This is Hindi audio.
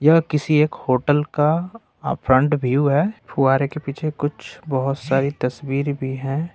यह किसी एक होटल का फ्रंट व्यू फुव्वारे के पीछे कुछ बहुत सारी तस्वीर भी हैं।